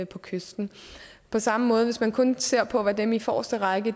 på kysten på samme måde hvis man kun ser på hvad dem i forreste række